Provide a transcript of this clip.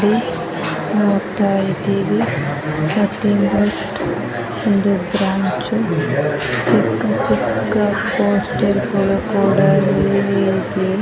ಇಲ್ಲಿ ನೋಡತ್ತಾ ಇದೀವಿ ಒಂದು ಬ್ರಾಂಚ್ ಚಿಕ್ಕ ಚಿಕ್ಕ ಪೋಸ್ಟರ್ ಕೂಡ ಇಲ್ಲಿ ಇದೆ .